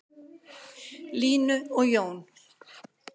Línu og Jón.